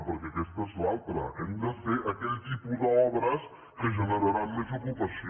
perquè aquesta és l’altra hem de fer aquell tipus d’obres que generarà més ocupació